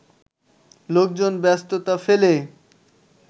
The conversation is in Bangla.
লোকজন ব্যস্ততা ফেলে